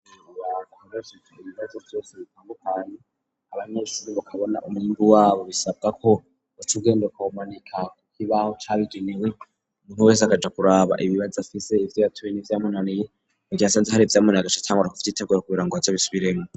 Akoreseku ibibazo vyose bitandukanya abaneshuri bakabona umuimbi wabo bisabwa ko ucugendekawumanika, kuko ibaho cariginiwe umuntu wese agaja kuraba ibibibazi afise ivyo yatuye nivyamunaniye ngo vyasanze hari ivyamunagasa cange arikuvyo iterwera kubira ngo azo bisubiremwo.